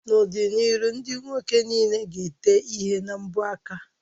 N'ọdịnihu ndị nwoke niile ga-ete ihe na mbọ aka